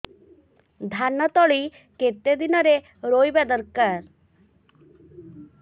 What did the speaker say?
ଧାନ ତଳି କେତେ ଦିନରେ ରୋଈବା ଦରକାର